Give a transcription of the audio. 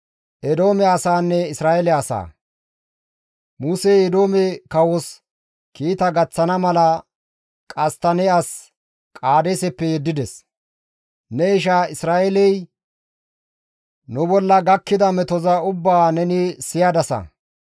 Musey Eedoome kawos kiita gaththana mala qasttanne as Qaadeeseppe yeddides; «Ne isha Isra7eeley, ‹Nu bolla gakkida metoza ubbaa neni siyadasa;